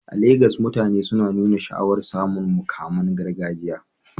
A Legas, mutane suna nuna sha'awar samun muƙaman gargajiya